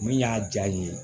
Min y'a jaa ye